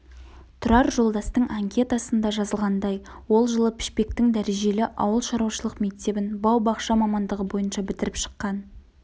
тұрар жолдастың анкетасында жазылғандай ол жылы пішпектің дәрежелі ауылшаруашылық мектебін бау-бақша мамандығы бойынша бітіріп шыққан